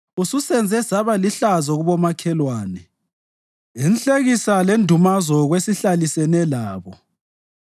Ususenze saba lihlazo kubomakhelwane, inhlekisa lendumazo kwesihlalisene labo.